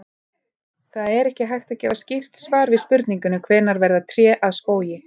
Það er ekki hægt að gefa skýrt svar við spurningunni hvenær verða tré að skógi.